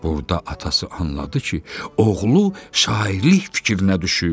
Burda atası anladı ki, oğlu şairlik fikrinə düşüb.